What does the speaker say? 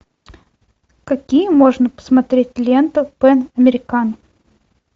какие можно посмотреть ленты пэн американ